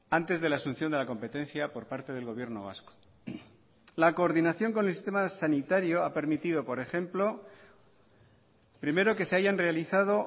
antes de la asunción de la competencia por parte del gobierno vasco la coordinación con el sistema sanitario ha permitido por ejemplo primero que se hayan realizado